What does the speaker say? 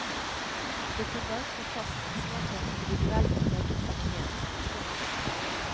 Vi kan bare slå fast at smak er et individuelt preget fenomen. punktum